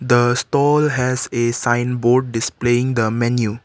the stall has a sign board displaying the menu.